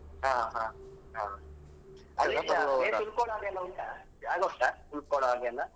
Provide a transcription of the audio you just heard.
ಹಾ place ಉಳ್ಕೊಳೋ ಹಾಗೆ ಎಲ್ಲ ಉಂಟಾ ಜಾಗ ಉಂಟಾ ಉಳ್ಕೊಳೋ ಹಾಗೆ ಎಲ್ಲಾ?